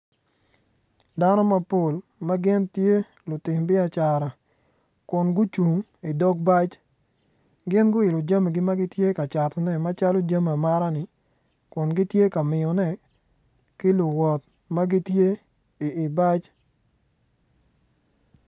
Dano mapol ma gin tye lutim biacara kun gucung idog bac gin guilo jamigi ma gitye ka catone macalo jami amata-ni kuhn gitye ka miyone ki luwot ma gitye i bac.